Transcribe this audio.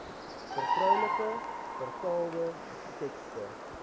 vertroulike vertaalde tekste